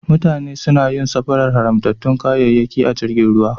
Mutane suna yin safarar haramtattun kayayyaki ta jirgin ruwa.